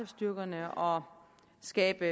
styrkerne og skabe